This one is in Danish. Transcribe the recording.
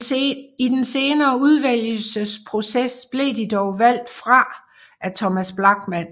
I den senere udvælgelsesproces blev de dog valgt fra af Thomas Blachman